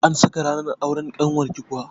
An saka ranar auren ƙanwarki kuwa?